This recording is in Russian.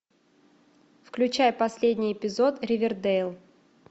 включай последний эпизод ривердейл